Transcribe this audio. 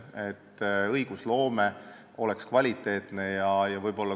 Samuti peaks õigusloome olema kvaliteetne.